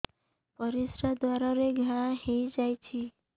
ପରିଶ୍ରା ଦ୍ୱାର ରେ ଘା ହେଇଯାଇଛି